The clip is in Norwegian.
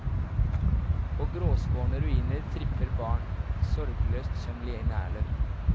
På gråskårne ruiner tripper barn, sorgløst som linerler.